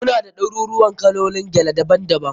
Muna da ɗaruruuwan kalolin gele daban daban.